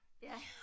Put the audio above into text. Ja